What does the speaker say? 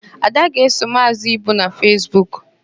Ada ga-eso Maazị Ibu na Fesbuk.